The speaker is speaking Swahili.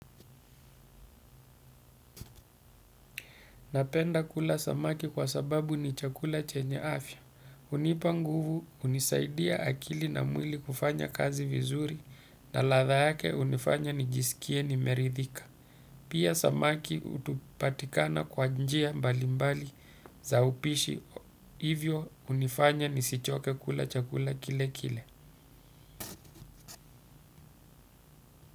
Napenda kula samaki kwa sababu ni chakula chenye afya. Unipa nguvu unisaidia akili na mwili kufanya kazi vizuri na ladha yake unifanya nijisikie nimeridhika. Pia samaki utupatikana kwa njia mbali mbali za upishi hivyo unifanya nisichoke kula chakula kile kile.